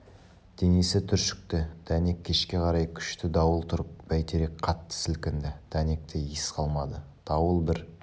денесі түршікті дәнек кешке қарай күшті дауыл тұрып бәйтерек қатты сілкінді дәнекте ес қалмады дауыл бір